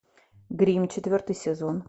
гримм четвертый сезон